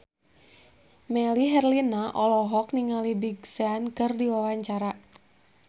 Melly Herlina olohok ningali Big Sean keur diwawancara